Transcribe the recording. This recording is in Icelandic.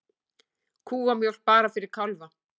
Kúamjólk bara fyrir kálfa